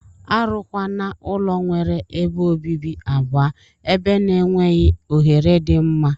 Arụ kwana ulọ nwere ebe obibi abụọ eber na enweghi ohere di mma.